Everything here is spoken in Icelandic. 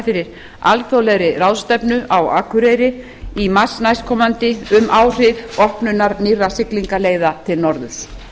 fyrir alþjóðlegri ráðstefnu á akureyri í mars næstkomandi um áhrif opnunar nýrra siglingaleiða til norðurs